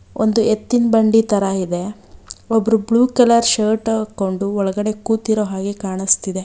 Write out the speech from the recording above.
ಒಂದು ಎತ್ತಿನ ಬಂಡಿ ತರ ಇದೆ ಒಬ್ರು ಬ್ಲೂ ಕಲರ್ ಶರ್ಟ್ ಹಾಕೊಂಡು ಒಳಗಡೆ ಕೂತಿರೋ ಹಾಗೆ ಕಾಣಿಸ್ತಿದೆ.